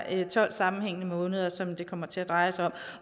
er tolv sammenhængende måneder som det kommer til at dreje sig om